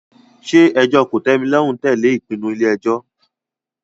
Ṣé ẹjọ́ kòtẹ́milọ́rùn tẹ̀lé ìpinnu ilé ẹjọ́?